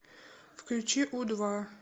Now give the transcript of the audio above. включи у два